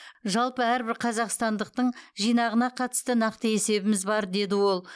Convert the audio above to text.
жалпы әрбір қазақстандықтың жинағына қатысты нақты есебіміз бар деді ол